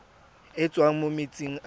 e tswang mo metsing a